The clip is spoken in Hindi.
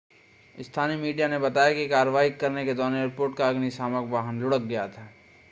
स्थानीय मीडिया ने बताया है कि कार्रवाई करने के दौरान एयरपोर्ट का अग्निशामक वाहन लुढ़क गया था